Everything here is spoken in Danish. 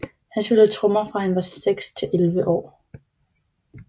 Han spillede trommer fra han var 6 til 11 år